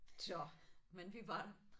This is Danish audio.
Så men vi var der